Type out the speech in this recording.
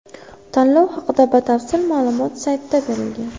Tanlov haqida batafsil ma’lumot saytda berilgan.